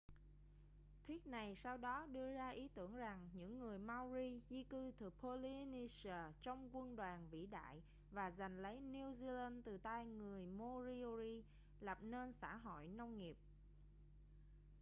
thuyết này sau đó đưa ra ý tưởng rằng những người maori di cư từ polynesia trong quân đoàn vĩ đại và giành lấy new zealand từ tay người moriori lập nên xã hội nông nghiệp